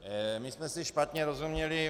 My jsme si špatně rozuměli.